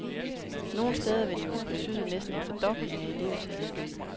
Nogle steder vil det jo betyde næsten en fordobling af elevtallet.